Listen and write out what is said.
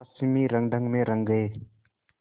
पश्चिमी रंगढंग में रंग गए